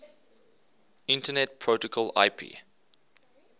internet protocol ip